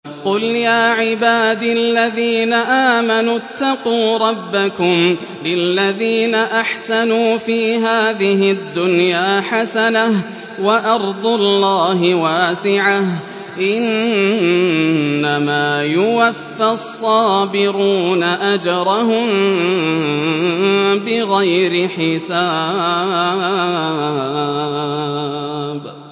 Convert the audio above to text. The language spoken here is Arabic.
قُلْ يَا عِبَادِ الَّذِينَ آمَنُوا اتَّقُوا رَبَّكُمْ ۚ لِلَّذِينَ أَحْسَنُوا فِي هَٰذِهِ الدُّنْيَا حَسَنَةٌ ۗ وَأَرْضُ اللَّهِ وَاسِعَةٌ ۗ إِنَّمَا يُوَفَّى الصَّابِرُونَ أَجْرَهُم بِغَيْرِ حِسَابٍ